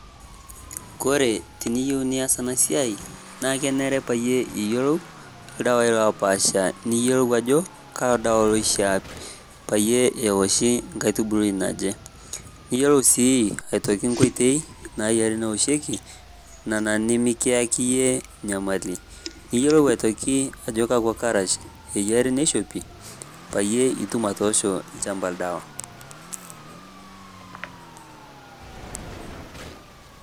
Kore tiniyeu niaas ena siai naa keneree paa eye iyeluu ldawai lopaasha. Niyeloo ajoo kaa ldawa leshaa pee oshii nkaai nkaitubuluu naaje. Niiyeloo sii aitooki nkotei naiyaari neoshoki nana nimikiaki enyee nyamali. NIiyeloo atokii ajoo kakwa kaarash enyaari neishopii pee iyee ituum atoosho lchaamba ldewa.